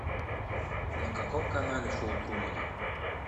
на каком канале шоу трумана